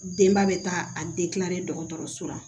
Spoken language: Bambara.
Denba bɛ taa a dɔgɔtɔrɔso la